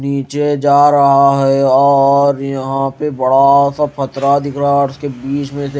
नीचे जा रहा है और यहां पे बड़ा सा फत्थरा दिख रहा और उसके बीच मे--